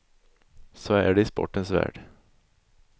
Så är det i sportens värld.